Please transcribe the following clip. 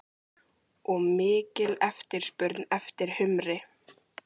Og mikil eftirspurn eftir humri?